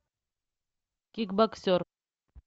кикбоксер